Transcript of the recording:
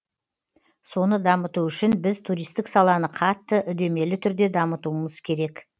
соны дамыту үшін біз туристік саланы қатты үдемелі түрде дамытуымыз керек